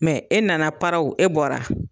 Mɛ e nana paraw e bɔra.